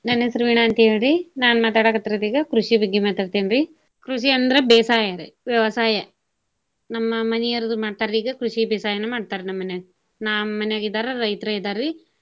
ನನ್ನ ಹೆಸರು ವೀಣಾ ಅಂತ ಹೇಳ್ರಿ. ನಾನ ಮಾತಾಡಾಕತ್ತಿರೋದ ಈಗ ಕೃಷಿ ಬಗ್ಗೆ ಮಾತಾಡ್ತೇನ್ರೀ. ಕೃಷಿ ಅಂದ್ರ ಬೇಸಾಯರಿ ವ್ಯವಸಾಯ. ನಮ್ಮ ಮನಿಯವರ ಅದು ಮಾಡ್ತಾರಿ ಈಗ ಕೃಷಿ ಬೇಸಾಯನ ಮಾಡ್ತಾರ ನಮ್ಮ ಮನ್ಯಾಗ. ನಮ್ಮ ಮನ್ಯಾಗ ಇದ್ದಾವ್ರ ರೈತರ ಇದ್ದಾರಿ.